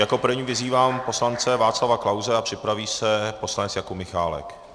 Jako prvního vyzývám poslance Václava Klause a připraví se poslanec Jakub Michálek.